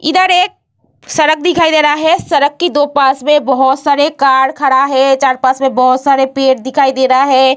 इधर एक सड़क दिखाई दे रहा है सड़क के दो पास में बहुत सारे कार खड़ा है चार पास में बहुत सारे पेड़ दिखाई दे रहा है।